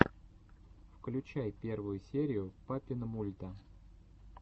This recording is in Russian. включай первую серию папинмульта